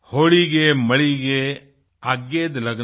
होडिगे मडिगे आग्येद लग्ना